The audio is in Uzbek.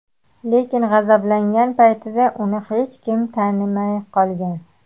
Lekin g‘azablangan paytida uni hech kim tanimay qolgan.